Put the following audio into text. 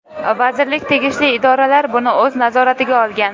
Vazirlik, tegishli idoralar buni o‘z nazoratiga olgan.